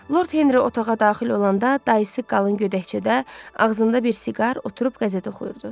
Lord Henri otağa daxil olanda dayısı qalın gödəkçədə, ağzında bir siqar oturub qəzət oxuyurdu.